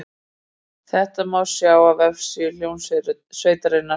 Þetta má sjá á vefsíðu hljómsveitarinnar